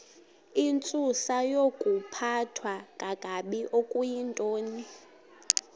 intsusayokuphathwa kakabi okuyintoni